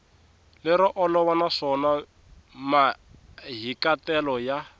lero olova naswona mahikahatelo ya